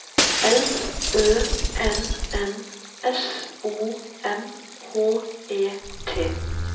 L Ø N N S O M H E T